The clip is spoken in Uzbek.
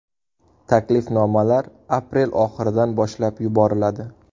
Taklifnomalar aprel oxiridan boshlab yuboriladi.